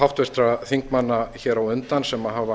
háttvirtra þingmanna hér á undan sem hafa